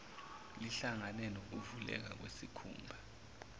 lihlangane nokuvuleka kwesikhumba